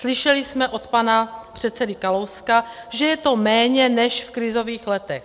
Slyšeli jsme od pana předsedy Kalouska, že je to méně než v krizových letech.